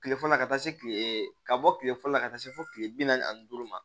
Kile fɔlɔ ka taa se kile ka bɔ kile fɔlɔ la ka taa se fo kile bi naani ani duuru ma